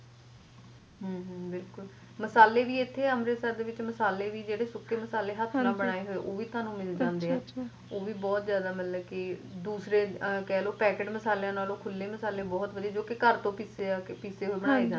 ਬਿਲਕੁਲ ਮਸਾਲੇ ਵੀ ਏਥੇ ਅੰਮ੍ਰਿਤਸਰ ਦੇ ਵਿੱਚ ਮਸਾਲੇ ਸੁੱਖੇ ਮਸਾਲੇ ਵੀ ਹੱਥ ਨਾਲ ਬਣਾਏ ਹੋਏ ਓਹ ਵੀ ਤੁਹਾਨੂੰ ਮਿਲ ਜਾਂਦੇ ਐ ਓਹ ਬੀ ਮਤਲਬ ਬਹੁਤ ਜਾਦਾ ਦੂਸਰੇ ਕਹਿਲੋ packet ਮਸਾਲੇ ਨਾਲੋ ਖੁੱਲ੍ਹੇ ਮਸਾਲੇ ਬਹੁਤ ਵਧੀਆ ਜੌ ਕਿ ਘਰ ਤੋਂ ਕਿੱਤੇ ਬਣਾਏ ਜਾਂਦੇ